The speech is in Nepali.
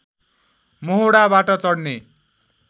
मोहोडाबाट चढ्ने